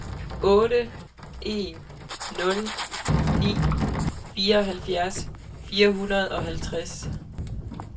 otte en nul ni fireoghalvfjerds fire hundrede og halvtreds